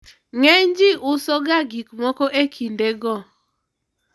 ng'enyji uso ga gikmoko e kinde go